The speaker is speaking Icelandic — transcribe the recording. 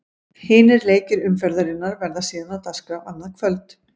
Hinir leikir umferðarinnar verða síðan á dagskrá annað kvöld.